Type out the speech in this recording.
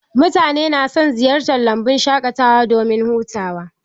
Mutane na son ziyartar lambun shaƙatawa domin hutawa